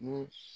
Mun